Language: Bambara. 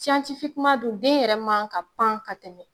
siyantifikeman dun den yɛrɛ man ka pan ka tɛmɛ